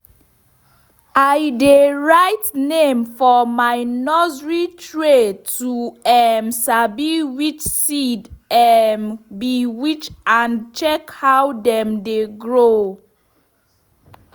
i dey write name for my nursery tray to um sabi which seed um be which and check how dem dey grow.